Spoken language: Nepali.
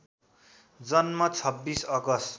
जन्म २६ अगस्ट